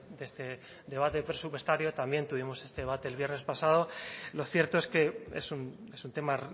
de este debate presupuestario también tuvimos este debate el viernes pasado lo cierto es que es un tema